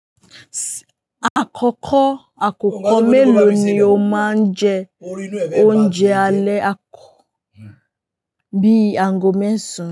Àkọ́kọ́ àkókò mélòó ni o máa ń jẹ oúnjẹ alẹ́ bí àgọ́ mẹ́sàn án?